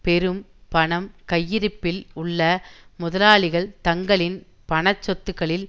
பெரும் பணம் கையிருப்பில் உள்ள முதலாளிகள் தங்களின் பண சொத்துக்களின்